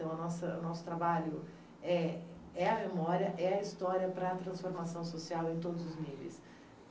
Então, a nossa o nosso trabalho é a memória, é a história para a transformação social em todos os níveis.